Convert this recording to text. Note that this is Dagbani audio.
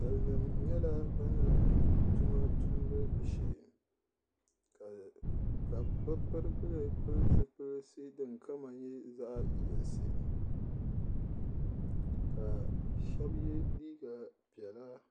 Sali nima nyɛla bin laɣim tuma tumbu shee ka bi pirigili pili zipilisi din kama nyɛ zaɣa yinisi ka shɛba yɛ liiga piɛla.